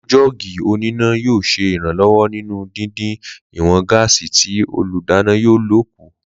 Lílò jóò̩gì oníná yóò s̩e ìrànló̩wó̩ nínú dĩndín ìwò̩n gáàsì tí olúdáná yóò lò kù